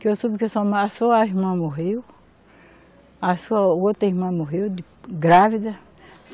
Que eu soube que a sua irmã morreu, a sua outra irmã morreu, de grávida.